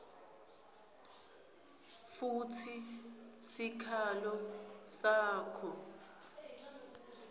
futsi sikhalo sakho